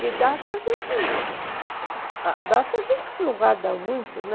Que data a gente... Data a gente não guarda muito, né?